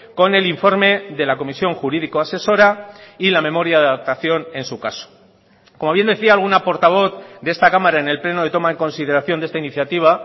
con el informe de la comisión jurídico asesora y la memoria de adaptación en su caso como bien decía alguna portavoz de esta cámara en el pleno de toma en consideración de esta iniciativa